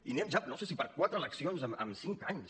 i anem ja no sé si per a quatre eleccions en cinc anys